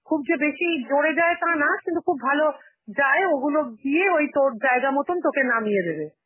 খুব যে বেশি জোরে যায়, তা না, কিন্তু খুব ভালো যায়, ওইগুলো দিয়ে ওই তোর জায়গা মতন তোকে নামিয়ে দেবে.